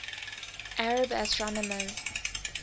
arab astronomers